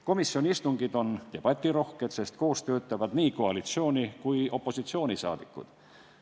Komisjoni istungid on debatirohked, sest koos töötavad nii koalitsiooni kui ka opositsiooni rahvasaadikud.